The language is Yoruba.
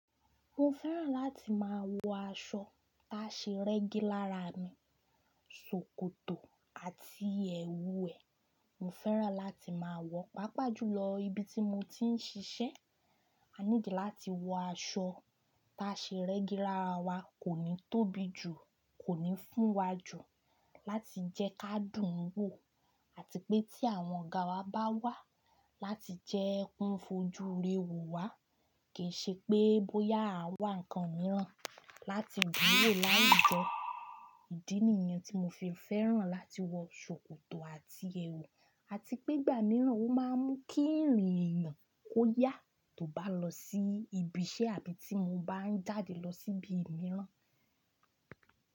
Mo fẹ́ràn láti máa wọ aṣọ táṣe rẹ́gí lára mi, ṣòkòtò àti ẹwù ẹ́. Mo fẹ́ràn láti máa wọ, pàápàá jùlọ ibi tí mo ti ń ṣiṣẹ́. A need láti wọ aṣọ táṣe rẹ́gí lára wa, kò ní tóbi jù, kò ní fún wa jù láti jẹ́ ká dùn wò àti pé tí àwọn ọ̀gá wa bá wà láti jẹ́ ẹ́ kan fojú re wò wá, kì í ṣe pé bóyá a wà nǹkan mìíràn láti dùn wò láwujọ. Ìdí nìyẹn tí mo fi fẹ́ràn láti wọ ṣòkòtò àti ẹwù, àti pé ìgbà mìíràn ó máa ń mú kí ìrìn eyan. Kó yá tó bá lọ sí ibi iṣẹ́ àbí tí mo bá ń jáde lọ sí ibi mìíràn.